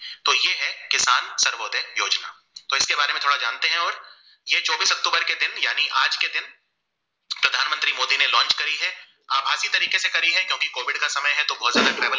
ये चौबीस अक्तूबर के दिन यानी आज के दिन प्रधान मंत्री मोदी ने launch करी है अभाग्य तरीके से करी क्योंकि कोविद का समय है तो बोहित ज्यादा